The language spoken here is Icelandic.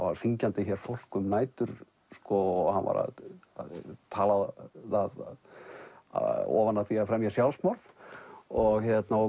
var hringjandi hér fólk um nætur og hann var að tala það ofan af því að fremja sjálfsmorð og